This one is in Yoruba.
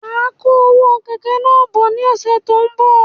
Máa kó owó kẹ̀kẹ́ náà bọ̀ ní ọsẹ tó n bọ